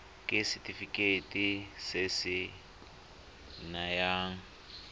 ke setefikeiti se se nayang